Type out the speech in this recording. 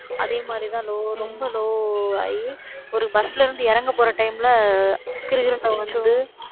அதே மாதிரிதான் low ரொம்ப low ஆகி ஒரு bus ல இருந்து இறங்கப்போற time ல, கிறுகிறுன்னு வந்து